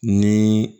Ni